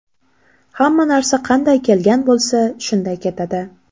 Hamma narsa qanday kelgan bo‘lsa, shunday ketadi.